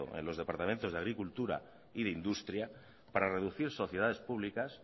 en los departamentos de agricultura y de industria para reducir sociedades públicas